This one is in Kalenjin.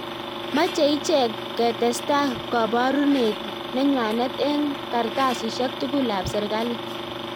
Mache ichek ketesta kabarunet nenywanet eng kartasishek tugul ap serikali